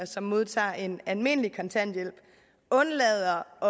som modtager en almindelig kontanthjælp undlader at